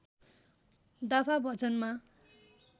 दाफा भजनमा